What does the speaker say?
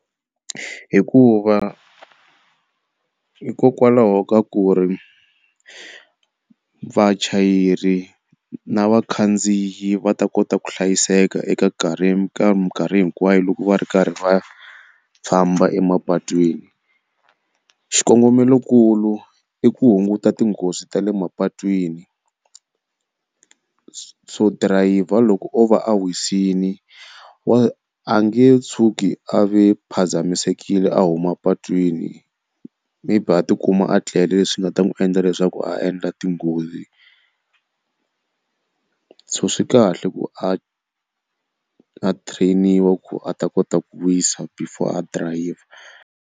Hikuva hikokwalaho ka ku ri vachayeri na vakhandziyi va ta kota ku hlayiseka eka nkarhi ka mikarhi hinkwayo loko va ri karhi va famba emapatwini. Xikongomelokulu i ku hunguta tinghozi ta le mapatwini so dirayivha loko o va a wisini wa a nge tshuki a ve phazamisekile a huma patwini maybe a tikuma a tlele leswi nga ta n'wi endla leswaku a endla tinghozi. So swi kahle ku a a train-iwa ku a ta kota ku wisa before a dirayivha.